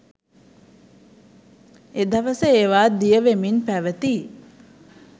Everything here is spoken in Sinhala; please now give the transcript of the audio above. එදවස ඒවා දියවෙමින් පැවති